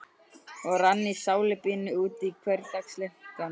Og rann í salíbunu út úr hversdagsleikanum.